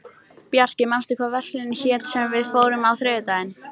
Bjarki, manstu hvað verslunin hét sem við fórum í á þriðjudaginn?